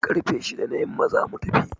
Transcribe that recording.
Karfe shida na yamma za mu tafi.